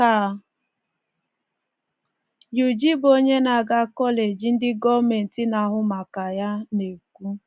ka Yuji, bụ onye na-aga kọleji ndị gọọmenti na-ahụ maka ya, na-ekwu.